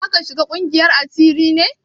Zaka shiga ƙungiyar asiri ne?